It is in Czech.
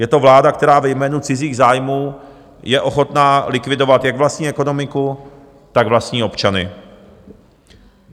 Je to vláda, která ve jménu cizích zájmů je ochotná likvidovat jak vlastní ekonomiku, tak vlastní občany.